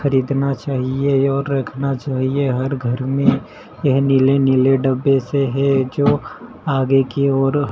खरीदना चाहिए और रखना चाहिए हर घर में यह नीले नीले डब्बे से है जो आगे की ओर--